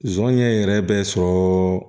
Zɔnɲɛ yɛrɛ bɛ sɔrɔ